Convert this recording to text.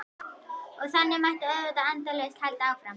Og þannig mætti auðvitað endalaust halda áfram.